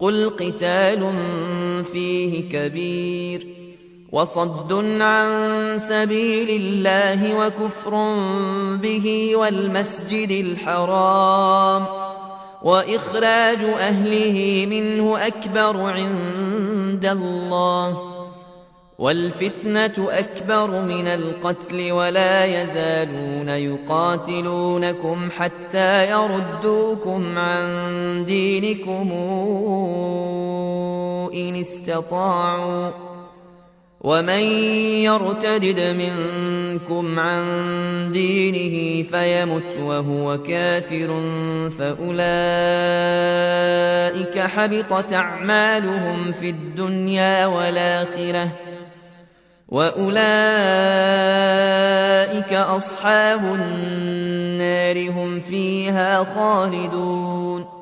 قُلْ قِتَالٌ فِيهِ كَبِيرٌ ۖ وَصَدٌّ عَن سَبِيلِ اللَّهِ وَكُفْرٌ بِهِ وَالْمَسْجِدِ الْحَرَامِ وَإِخْرَاجُ أَهْلِهِ مِنْهُ أَكْبَرُ عِندَ اللَّهِ ۚ وَالْفِتْنَةُ أَكْبَرُ مِنَ الْقَتْلِ ۗ وَلَا يَزَالُونَ يُقَاتِلُونَكُمْ حَتَّىٰ يَرُدُّوكُمْ عَن دِينِكُمْ إِنِ اسْتَطَاعُوا ۚ وَمَن يَرْتَدِدْ مِنكُمْ عَن دِينِهِ فَيَمُتْ وَهُوَ كَافِرٌ فَأُولَٰئِكَ حَبِطَتْ أَعْمَالُهُمْ فِي الدُّنْيَا وَالْآخِرَةِ ۖ وَأُولَٰئِكَ أَصْحَابُ النَّارِ ۖ هُمْ فِيهَا خَالِدُونَ